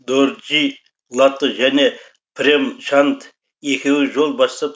дорджи лато және прем чанд екеуі жол бастап